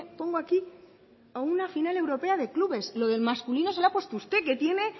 pongo aquí a una final europea de clubes lo del masculino se lo ha puesto usted que tiene